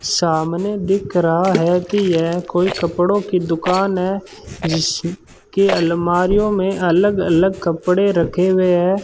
सामने दिख रहा है कि यह कोई कपड़ों की दुकान है जिसके अलमारियों में अलग अलग कपड़े रखे हुए हैं।